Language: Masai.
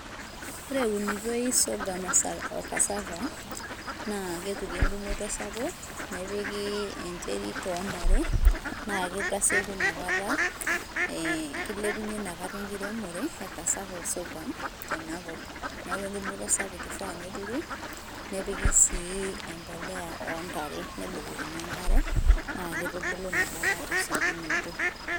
ore eunitoi sorgum o cassava, na kepiki engumoto sapuk nepiki enterit ontare na kitasieku nakata ee kilepunyie nakata enkiremore e cassava osorgum tenakop niaku engumoto sapuk ifaa neturi nepiki si empolea ontare nebukokini enkare na kitubulu nakata tesiokinoto,